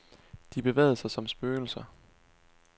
De bevægede sig som spøgelser.